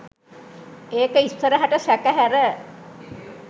ඒක ඉස්සරහට සැක හැර